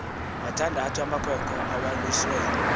mathandathu amakhwenkne awaluswe